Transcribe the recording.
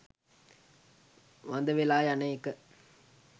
වඳ වෙලා යන එක